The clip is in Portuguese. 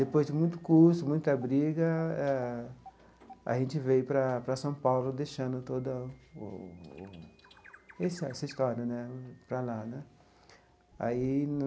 Depois de muito custo, muita briga, ah a gente veio para para São Paulo, deixando toda o o esse essa história né para lá né aí no.